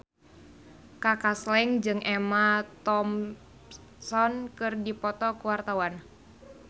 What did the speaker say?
Kaka Slank jeung Emma Thompson keur dipoto ku wartawan